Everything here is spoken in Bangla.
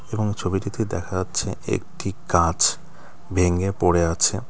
এবং এই ছবিটিতে দেখা যাচ্ছে একটি গাছ ভেঙে পড়ে আছে।